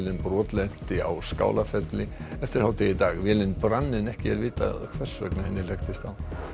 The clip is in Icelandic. brotlenti á Skálafelli eftir hádegi í dag vélin brann en ekki er vitað hvers vegna henni hlekktist á